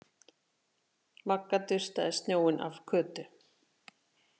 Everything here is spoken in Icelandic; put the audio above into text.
Magga dustaði snjóinn af Kötu.